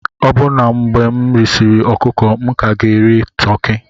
Ọbụna mgbe m risịrị ọkụkọ, m ka ga-eri toki.